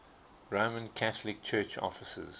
roman catholic church offices